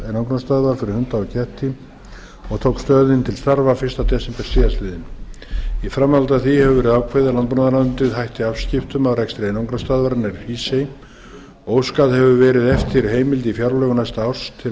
reksturs einangrunarstöðvar fyrir hunda og ketti og tók stöðin til starfa fyrsta desember síðastliðinn í framhaldi af því hefur verið ákveðið að landbúnaðarráðuneytið hætti afskiptum af rekstri einangrunarstöðvarinnar í hrísey óskað hefur verið eftir heimild í fjárlögum næsta árs til að